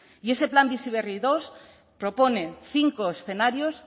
y ese plan bizi berri segundo propone cinco escenarios